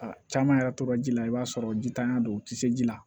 A caman yɛrɛ tora ji la i b'a sɔrɔ jitanya don u tɛ se ji la